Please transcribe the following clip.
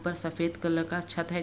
ऊपर सफेद कलर का छत है।